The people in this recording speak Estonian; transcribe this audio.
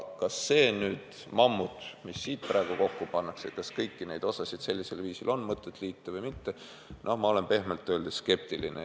Kas see mammut, mis praegu kokku pannakse, on õige otsus, kas kõiki neid osasid sellisel viisil on mõtet liita – noh, ma olen pehmelt öeldes skeptiline.